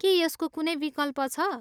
के यसको कुनै विकल्प छ?